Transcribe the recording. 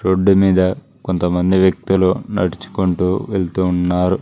రోడ్డుమీద కొంత మంది వ్యక్తులు నడుచుకుంటూ వెళ్తూ ఉన్నారు.